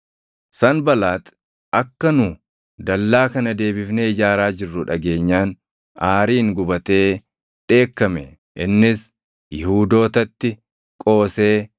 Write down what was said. Sanbalaaxi akka nu dallaa kana deebifnee ijaaraa jirru dhageenyaan aariin gubatee dheekkame. Innis Yihuudootatti qoosee